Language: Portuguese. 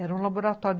Era um laboratório.